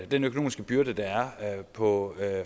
den økonomiske byrde der er på